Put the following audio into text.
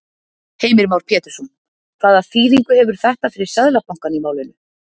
Heimir Már Pétursson: Hvaða þýðingu hefur þetta fyrir Seðlabankann í málinu?